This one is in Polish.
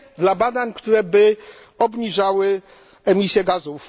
dla badań, które obniżałyby emisję gazów.